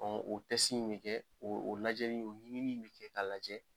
o mi kɛ, o lajɛli ɲinini bi kɛ ka lajɛ